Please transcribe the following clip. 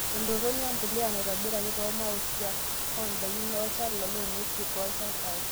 Entoroni empuliya naitobiraki toomautik oondaikin olchala loong'wesin tolchampai;